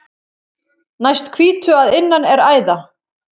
Næst hvítu að innan er æða.